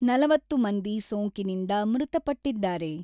ನಲವತ್ತು ಮಂದಿ ಸೋಂಕಿನಿಂದ ಮೃತಪಟ್ಟಿದ್ದಾರೆ.